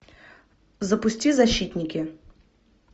запусти защитники